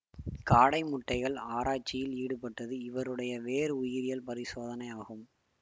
காடை முட்டைகள் ஆராய்ச்சியில் ஈடுபட்டது இவருடைய வேறு உயிரியல் பரிசோதனை ஆகும்